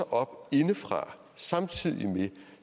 op indefra